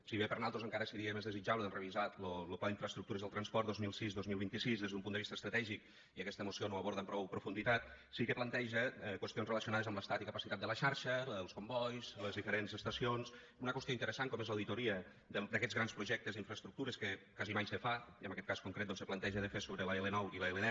si bé per nosaltres encara seria més desitjable revisar lo pla d’infraestructures del transport dos mil sis dos mil vint sis des d’un punt de vista estratègic i aquesta moció no ho aborda amb prou profunditat sí que planteja qüestions relacionades amb l’estat i capacitat de la xarxa la dels combois les diferents estacions i una qüestió interessant com és l’auditoria d’aquests grans projectes i infraestructures que quasi mai se fa i en aquest cas concret doncs se planteja de fer sobre l’l9 i l’l10